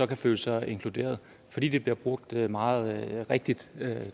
kan føle sig inkluderet fordi det bliver brugt meget rigtigt